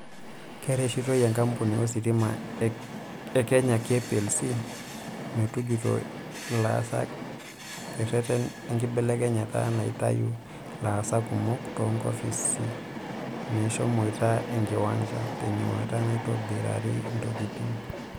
Kereshitoi enkapuni ositima e Kenya (KPLC) metujuto ilaasak tereten enkibelekenya naitayu laasak kumok toonkofisi meshomoita enkiwanja tenyuata naaitobirari intokitin.